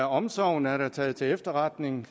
omsorgen er da taget til efterretning